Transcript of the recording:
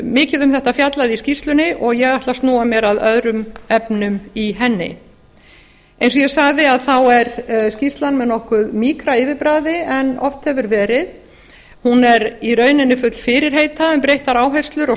mikið um þetta fjallað í skýrslunni og ég ætla að snúa mér að öðrum efnum í henni eins og ég sagði er skýrslan með nokkuð mýkra yfirbragði en oft hefur verið hún er í rauninni full fyrirheita um breyttar áherslur og